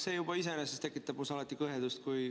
See juba iseenesest tekitab minus alati kõhedust.